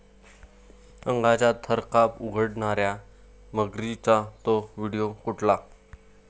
अंगाचा थरकाप उडवणाऱ्या मगरींचा 'तो' व्हिडिओ कुठला?